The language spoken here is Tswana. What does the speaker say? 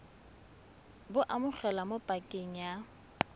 bo amogelwa mo pakeng ya